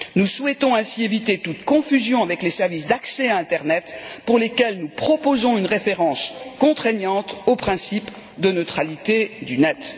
Nous souhaitons ainsi éviter toute confusion avec les services d'accès à l'internet, pour lesquels nous proposons une référence contraignante au principe de la neutralité de l'internet.